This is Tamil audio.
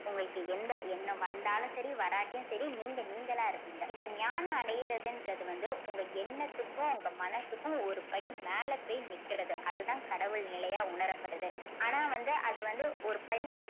உங்களுக்கு எந்த எண்ணம் வந்தாலும் சரி வராட்டியும் சரி நீங்க நீங்களா இருப்பீங்க நீங்க ஞானம் அடையுறதுன்றது வந்து உங்க எண்ணத்துக்கும் உங்க மனசுக்கும் ஒரு படி மேல போய் நிக்கிறது அதுதான் கடவுள் நிலையா உணரப்படுது. ஆனா வந்து அது வந்து ஒரு படி